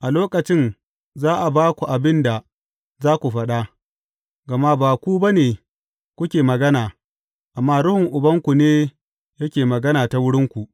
A lokacin za a ba ku abin da za ku faɗa, gama ba ku ba ne kuke magana, amma Ruhun Ubanku ne yake magana ta wurinku.